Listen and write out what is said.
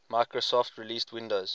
microsoft released windows